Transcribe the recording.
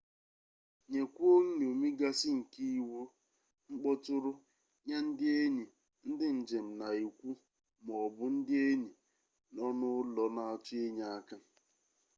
nyekwuo nn̄omi gasị nke iwu/mkpọtụrụ nye ndị enyi ndị njem na ikwu ma ọ bụ ndị enyi nọ n’ụlọ na-achọ inye aka